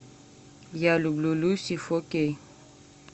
я люблю люси фо кей